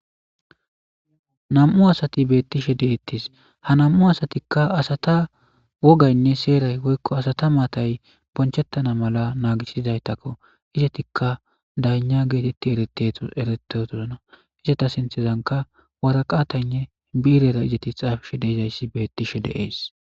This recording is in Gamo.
na7mu asati beettishe deettis ha nam7u asatikka asata wogaynne seeray woykko asata maatay bonchettana mala naagisidaytakko izetikka dayna geetetti eretetos erete turana izeta sinthezanka waraqataynne biirera izeti xaafishe deezayssi beettishe deees